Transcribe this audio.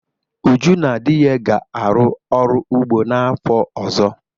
Uju na di ya ga-arụ ọrụ ụgbo n'afọ ọzọ.